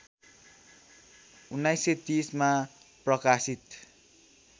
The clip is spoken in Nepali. १९३० मा प्रकाशित